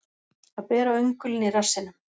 Að bera öngulinn í rassinum